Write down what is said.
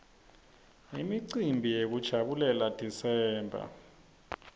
imicimbi yekujabulela desember